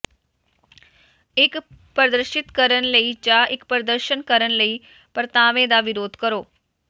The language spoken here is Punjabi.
ਇੱਕ ਪ੍ਰਦਰਸ਼ਿਤ ਕਰਨ ਜਾਂ ਇੱਕ ਪ੍ਰਦਰਸ਼ਨ ਕਰਨ ਲਈ ਪਰਤਾਵੇ ਦਾ ਵਿਰੋਧ ਕਰੋ